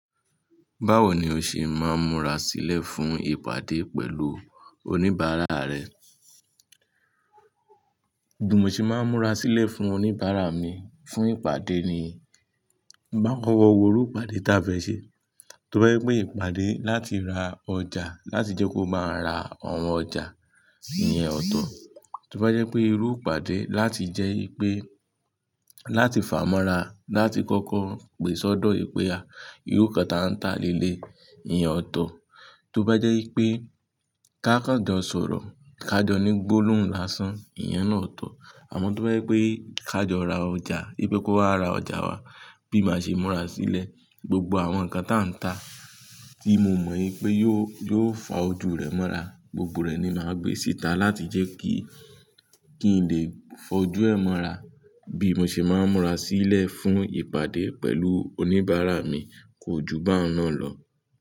Báwo ni o ṣe máa ń múra sílẹ̀ fún ìpàdé pẹ̀lú oníbàárà rẹ? Bí mo ṣe máa ń múra sílẹ̀ fún oníbàárà mi fún ìpàdé ni, máa wo irú ìpàdé táa fẹ́ ṣe. Tí ó bá jẹ́ pé ìpàdé láti ra ọjà láti jẹ́ kó máa ra àwọn ọjà, ìyẹn ọ̀tọ̀. Tí ó bá jẹ́ pé irú ìpàdé láti jẹ́ pé, láti fàá mọ́ra, láti kọ́kọ́ pèsodọ ìpè a, irú kan táa ń ta lé lẹ̀, ìyẹn ọ̀tọ̀. Tí ó bá jẹ́ pé ká kan jọ sọ̀rọ̀, ká jọ ní gbólóhùn lásán, ìyẹn náà ọ̀tọ̀. Àmọ́ tí ó bá jẹ́ pé ká jọ ra ọjà, pé kó wá ra ọjà wa bí mo ṣe máa ń múra sílẹ̀, gbogbo àwọn nǹkan táa ń ta tí mo mọ̀ pé yóò, yóò fà á ojú rẹ̀ mọ́ra, gbogbo rẹ̀ ni màá gbé síta láti jẹ́ kí, kí n lè fọ ojú ẹ̀ mọ́ra. Bí mo ṣe máa ń múra sílẹ̀ fún ìpàdé pẹ̀lú oníbàárà mi kò ju bá náà lọ.